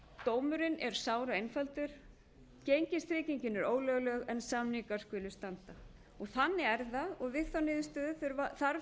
dómurinn er sáraeinfaldur gengistryggingin er ólögleg en samningar skulu standa þannig er það og við þá niðurstöðu þarf